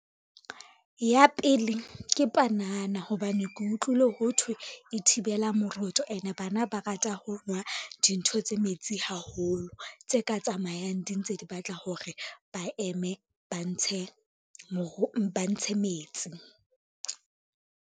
Ya pele ke panana hobane ke utlwile ho thwe e thibela moroto ene bana ba rata ho nwa dintho tse metsi haholo, tse ka tsamayang di ntse di batla hore ba eme ba ntshe metsi.